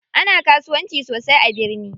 Ana kasuwanci sosai a birni.